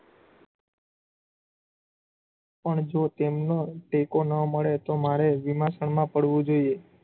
પણ જો તેમનો ટેકો ન મળે તો મારે વિમાસણમાં પડવું જોઇયે.